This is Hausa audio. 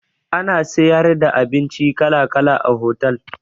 Ana siyar da abinci kala kala a hotal